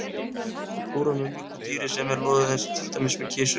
Að kúra með mjúku dýri sem er loðið eins og til dæmis með kisu.